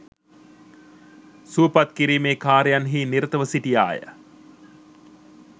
සුවපත් කිරීමේ කාර්යන් හි නිරතව සිටියාය.